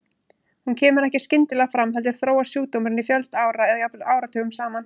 Hún kemur ekki skyndilega fram heldur þróast sjúkdómurinn í fjölda ára eða jafnvel áratugum saman.